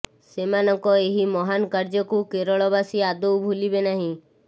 ସେମାନଙ୍କ ଏହି ମହାନ୍ କାର୍ଯ୍ୟକୁ କେରଳବାସୀ ଆଦୌ ଭୁଲିବେ ନାହିଁ